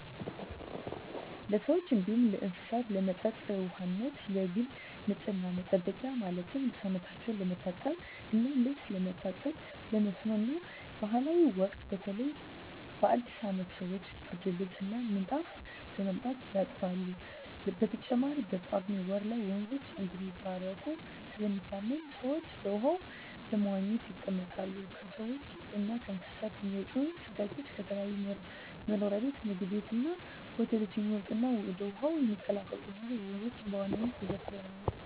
ለሰዎች እንዲሁም ለእስሳት ለመጠጥ ውሃነት፣ ለግል ንፅህና መጠበቂያ ማለትም ሰውነታቸው ለመታጠብ እና ልብስ ለማጠብ፣ ለመስኖ እና ባእላት ወቅት በተለይ በአዲስ አመት ሰወች ብርድልብስ እና ምንጣፍ በማምጣት ያጥባሉ። በተጨማሪም በጳጉሜ ወር ላይ ወንዞች እንደሚባረኩ ስለሚታመን ሰወች በውሃው በመዋኘት ይጠመቃሉ። ከሰውች እና ከእንስሳት የሚወጡ ፅዳጆች፣ ከተለያዩ መኖሪያ ቤት ምግብ ቤት እና ሆቴሎች የሚወጡ እና ወደ ውሀው የሚቀላቀሉ ቆሻሻወች ወንዞችን በዋናነት ይበክላሉ።